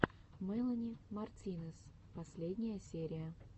мелани мартинес последняя серия